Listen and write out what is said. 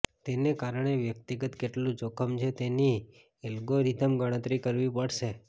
તેને કારણે વ્યક્તિગત કેટલું જોખમ છે તેની એલ્ગોરિધમ ગણતરી કરવી પડશે